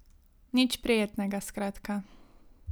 Nič prijetnega skratka.